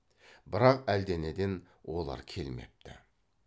бірақ әлденеден олар келмепті